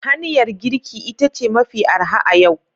Hanyar girki ita ce mafi arha a yau